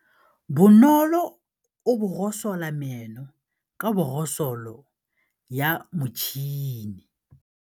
Bonolô o borosola meno ka borosolo ya motšhine.